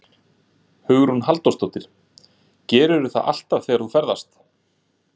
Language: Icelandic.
Hugrún Halldórsdóttir: Gerirðu það alltaf þegar þú ferðast?